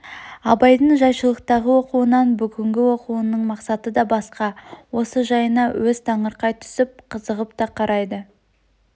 абайдың жайшылықтағы оқуынан бүгнгі оқуының мақсаты да басқа осы жайына өз таңырқай түсіп қызығып та қарайды